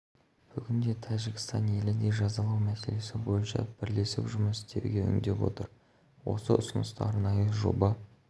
бүгінде тәжікстан елі де жазалау мәселесі бойынша бірлесіп жұмыс істеуге үндеп отыр осы ұсынысты арнайы жоба